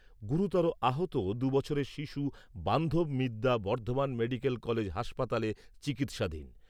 গুরুতর আহত দুবছরের শিশু বান্ধব মিদ্যা বর্ধমান মেডিকেল কলেজ হাসপাতালে চিকিৎসাধীন।